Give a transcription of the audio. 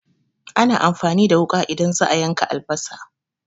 Ana amfani da wuƙa idan za'a yanka albasa